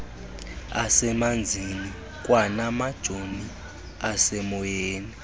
asemanzini kwanamajoni asemoyeni